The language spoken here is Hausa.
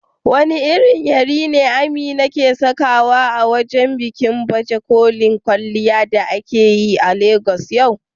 Wane irin yari ne Amina ke sakawa a bikin baje kolin kwalliya da aka yi a Legas yau?